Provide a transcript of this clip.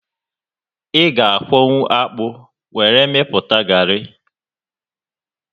Ị ga akwọnwu akpụ were mepụta garị